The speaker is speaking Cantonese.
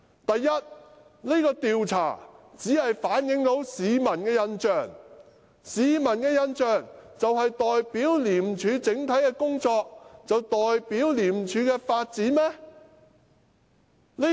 第一，這項調查只反映市民的印象，難道市民的印象就代表廉署整體的工作和發展？